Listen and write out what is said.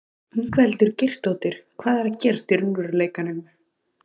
Ingveldur Geirsdóttir: Hvað er að gerast í raunveruleikanum?